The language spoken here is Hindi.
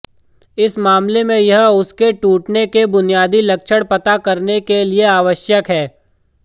इस मामले में यह उसके टूटने के बुनियादी लक्षण पता करने के लिए आवश्यक है